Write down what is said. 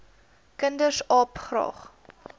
kinders aap graag